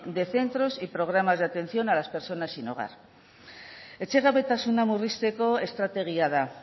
de centros y programas de atención a las personas sin hogar etxegabetasuna murrizteko estrategia da